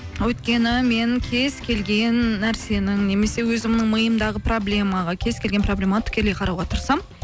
өйткені мен кез келген нәрсенің немесе өзімнің миымдағы проблемаға кез келген проблемаға тікелей қарауға тырысамын